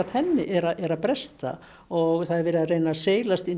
henni er að bresta og það er verið að reyna að seilast inn